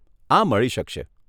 આ મળી શકશે.